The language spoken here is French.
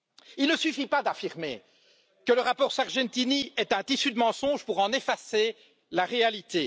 Il ne suffit pas d'affirmer que le rapport Sargentini est un tissu de mensonges pour en effacer la réalité.